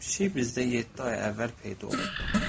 Pişik bizdə yeddi ay əvvəl peyda olub.